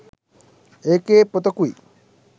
ඒකේ පොතකුයි